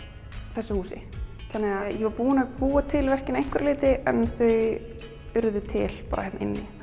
þessu húsi þannig að ég var búin að búa til verkin að einhverju leyti en þau urðu til bara hérna inni